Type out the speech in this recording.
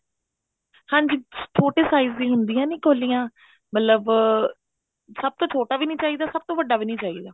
ਹਾਂਜੀ ਛੋਟੇ size ਦੀਆਂ ਹੁੰਦੀਆਂ ਨੀ ਕੋਲੀਆਂ ਮਤਲਬ ਸਭ ਤੋਂ ਛੋਟਾ ਵੀ ਨੀ ਚਾਹੀਦਾ ਸਭ ਤੋਂ ਵੱਡਾ ਵੀ ਨੀ ਚਾਹੀਦਾ